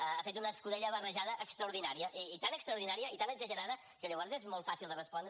ha fet una escudella barrejada extraordinària i tan extraordinària i tan exagerada que llavors és molt fàcil de respondre